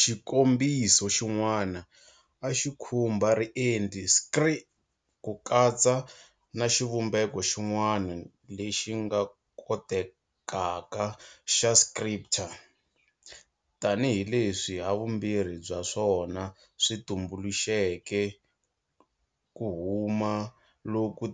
Xikombiso xin'wana a xi khumba riendli scrir, ku tsala, na xivumbeko xin'wana lexi nga kotekaka xa scripter, tanihileswi havumbirhi bya swona swi tumbuluxeke ku huma loku